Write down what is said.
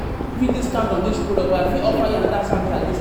discount on dis product, but I fit offer you anoda service at